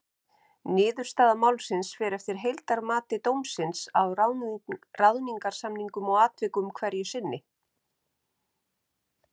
Niðurstaða málsins fer eftir heildarmati dómsins á ráðningarsamningnum og atvikum hverju sinni.